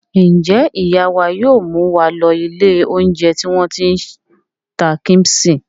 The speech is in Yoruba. Ǹjẹ́ ìyá wa yóò mú wa lọ ilé-oúnjẹ tí wọ́n ti ń ta kíḿṣì?